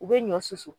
U bɛ ɲɔ susu